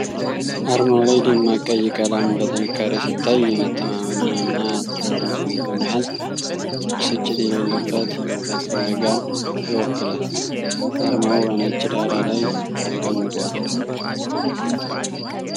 አርማው ላይ ደማቅ ቀይ ቀለም በጥንካሬ ሲታይ፣ የመተማመንን እና ትኩረትን ስሜት በመያዝ ብስጭት የሌለበት የእውቀት ፍለጋን ይወክላል። አርማው በነጭ ዳራ ላይ ተቀምጧል።